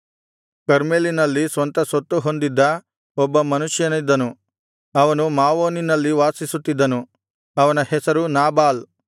ಕರ್ಮೆಲಿನಲ್ಲಿ ಸ್ವಂತ ಸೊತ್ತು ಹೊಂದಿದ್ದ ಒಬ್ಬ ಮನುಷ್ಯನಿದ್ದನು ಅವನು ಮಾವೋನಿನಲ್ಲಿ ವಾಸಿಸುತ್ತಿದ್ದನು ಅವನ ಹೆಸರು ನಾಬಾಲ್